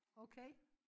Okay